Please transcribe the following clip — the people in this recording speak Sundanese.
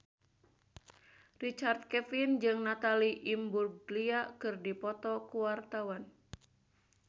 Richard Kevin jeung Natalie Imbruglia keur dipoto ku wartawan